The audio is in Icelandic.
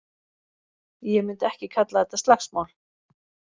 Ég myndi ekki kalla þetta slagsmál.